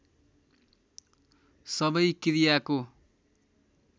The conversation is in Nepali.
सबै क्रियाको